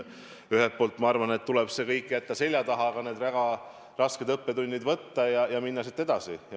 Ühelt poolt, ma arvan, tuleb see kõik jätta seljataha, aga need väga rasked õppetunnid teadmiseks võtta ja minna edasi.